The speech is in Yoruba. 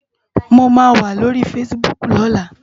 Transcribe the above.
Mó má wá lóri fásibúk lòlá